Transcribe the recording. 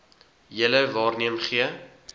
julle waarneem gee